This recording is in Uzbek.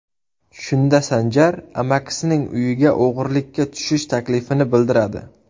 Shunda Sanjar amakisining uyiga o‘g‘irlikka tushish taklifini bildiradi.